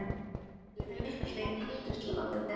Hann vill að þau Agnes fái að vera í friði.